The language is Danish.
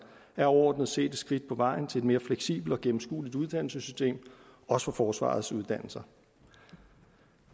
er overordnet set et skridt på vejen til et mere fleksibelt og gennemskueligt uddannelsessystem også for forsvarets uddannelser